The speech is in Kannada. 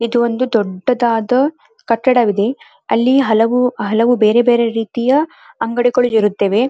ಇದು ಒಂದು ದೊಡ್ಡದಾದ ಕಟ್ಟಡವಿದೆ ಅಲ್ಲಿ ಹಲವು ಹಲವು ಬೇರೆ ಬೇರೆ ರೀತಿಯ ಅಂಗಡಿಗಳಿರುತ್ತದೆ.